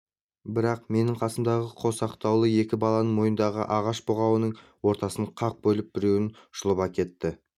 бірақ менің қасымдағы қосақтаулы екі баланың мойнындағы ағаш бұғауын ортасынан қақ бөліп біреуін жұлып әкетті